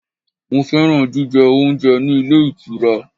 Mo fẹ́ràn jíjẹ oúnjẹ ní ilé ìtura.